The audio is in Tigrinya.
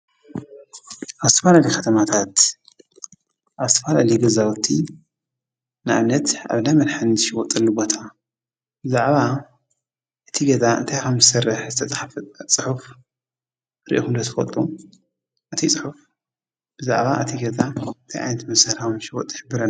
ኣብ ዝተፈላለዩ ከተማታት ኣብ ዝተፈላለዩ ገዛውቲ ንኣብነት ኣብ እንዳ መድሓኒት ዝሽየጠሉ ቦታ ብዛዕባ እቲ ገዛ እንታይ ከም ዝሰርሕ ዝተፃሕፈ ፅሑፍ ሪኢኩም ዶ ትፈልጡ? እቲ ፅሑፍ ብዛዕባ እቲ ገዛ እንታይ ዓይነትመሳርሒ ከም ዝሽዎጥ ዝሕብረና።